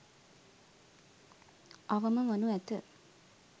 අවම වනු ඇත.